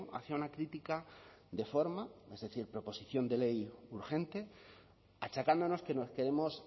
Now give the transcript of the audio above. hacía una crítica de forma es decir proposición de ley urgente achacándonos que nos queremos